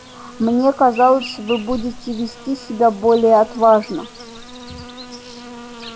мне казалось вы будете вести себя более отважно